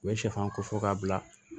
U ye sɛfan ko fɔ k'a bila